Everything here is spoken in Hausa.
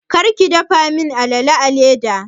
Kar ki dafa min alala a leda!